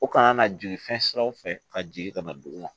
O kana na jigin fɛn siraw fɛ ka jigin ka na dugu la